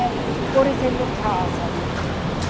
Por exemplo, casa, né? E